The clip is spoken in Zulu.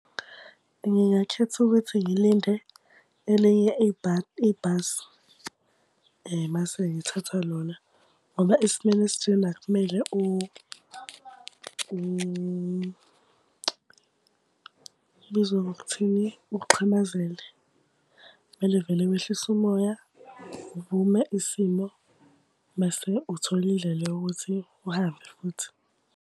Ngingakhetha ukuthi ngilinde elinye ibhasi, mase ngithatha lona. Ngoba esimweni esinjena akumele , kubizwa ngokuthini? Uxhamazele. Kumele vele wehlise umoya, uvume isimo, mase uthola indlela yokuthi uhambe futhi.